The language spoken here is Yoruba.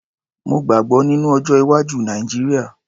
Mo gbàgbọ́ nínú ọjọ́-iwájú Nàìjíríà.